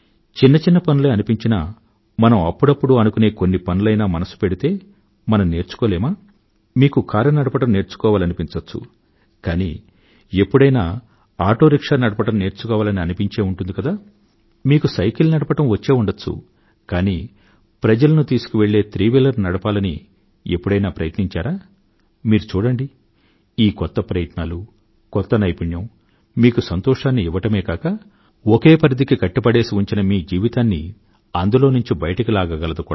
చిన్న చిన్న పనులే అనిపించినా మనం అప్పుడప్పుడూ అనుకునే కొన్ని పనులయినా మనసు పెడితే మనం నేర్చుకోలేమా మీకు కారు నడపడం నేర్చుకోవాలనిపించచ్చు కానీ ఎప్పుడైనా ఆటో రిక్షా నడపడం నేర్చుకోవాలని అనిపించే ఉంటుంది కదా మీకు సైకిల్ తొక్కడం వచ్చే ఉండవచ్చు కానీ ప్రజలను తీసుకువెళ్ళే త్రిచక్ర వాహనాన్ని నడపాలని ఎప్పుడైనా ప్రయత్నించారా మీరు చూడండి ఈ కొత్త ప్రయత్నాలు కొత్త నైపుణ్యం మీకు సంతోషాన్ని ఇవ్వడమే కాక ఒకే పరిధికి కట్టిపడేసి ఉంచిన మీ జీవితాన్ని అందులోంచి బయటకు లాగగలదు కూడా